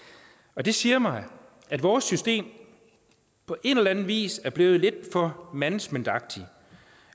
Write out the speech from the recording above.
og det siger mig at vores system på en eller anden vis er blevet lidt for managementagtigt